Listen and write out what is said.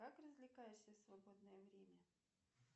как развлекаешься в свободное время